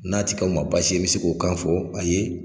N'a ti k'aw ma baasi ye i bi se k'o kan fɔ a ye